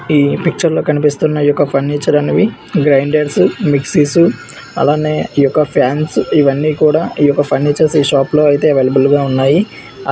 ఈ పిక్చర్ లో కనిపిస్తున్నాయి. ఈ ఒక్క ఫర్నిచర్ అనేవి గ్రైండర్స్ మిక్సీస్ అలానే ఈ యొక్క ఫ్యాన్స్ ఇవన్నీ కూడా ఈ యొక్క ఫర్నిచర్స్ ఈ షాప్ లో అయితే అవైలబుల్ గా ఉన్నాయి.